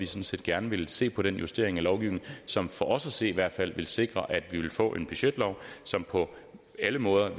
set gerne vil se på den justering af lovgivningen som for os at se i hvert fald vil sikre at vi vil få en budgetlov som på alle måder